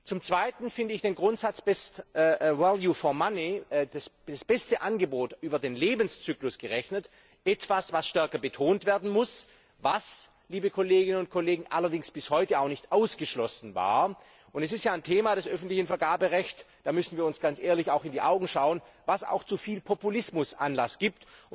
Zum zweiten finde ich den Grundsatz best value for money das beste Angebot über den Lebenszyklus gerechnet, etwas, das stärker betont werden muss, was allerdings bis heute auch nicht ausgeschlossen war. Das ist ja ein Thema des öffentlichen Vergaberechts da müssen wir uns auch ganz ehrlich in die Augen schauen das auch zu viel Populismus Anlass gibt.